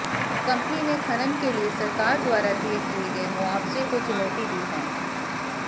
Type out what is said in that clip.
company ने खनन के लिए सरकार द्वारा तय किए गए मुआवजे को चुनौती दी है